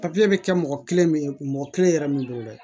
bɛ kɛ mɔgɔ kelen min ye mɔgɔ kelen yɛrɛ min don dɛ